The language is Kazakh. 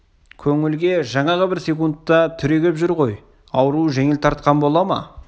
көңілге жаңағы бір секундте түрегеп жүр ғой ауруы жеңіл тартқан бола ма